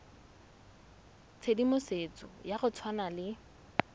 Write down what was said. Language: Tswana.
tshedimosetso ya go tshwana le